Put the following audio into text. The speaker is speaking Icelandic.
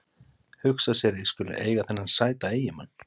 Hugsa sér að ég skuli eiga þennan sæta eiginmann.